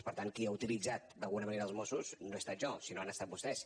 per tant qui ha utilitzat d’alguna manera els mossos no he estat jo sinó que han estat vostès